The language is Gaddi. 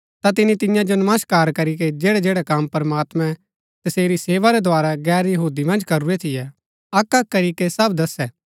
ता तिनी तियां जो नमस्कार करीके जैड़ै जैड़ै कम प्रमात्मैं तसेरी सेवा रै द्धारा गैर यहूदी मन्ज करूरै थियै अक्क अक्क करीके सब दसै